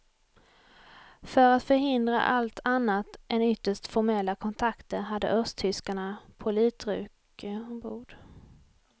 För att förhindra allt annat än ytterst formella kontakter hade östtyskarna politruker ombord.